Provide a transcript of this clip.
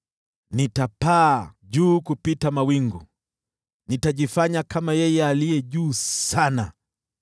Nitapaa juu kupita mawingu, nitajifanya kama Yeye Aliye Juu Sana.”